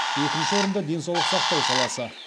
екінші орында денсаулық сақтау саласы